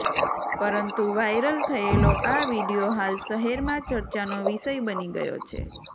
પરંતુ વાઈરલ થયેલો આ વિડિયો હાલ શહેરમાં ચર્ચાનો વિષય બની ગયો છે